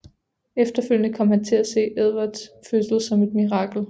Efterfølgende kom han til at se Edvards fødsel som et mirakel